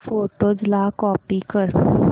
photos ला copy कर